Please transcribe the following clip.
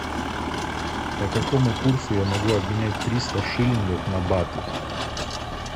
по какому курсу я могу обменять триста шиллингов на баты